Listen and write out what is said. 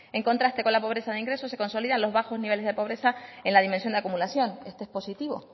en contraste con la pobreza de ingresos se consolidan los bajos niveles de pobreza en la dimensión de acumulación este es positivo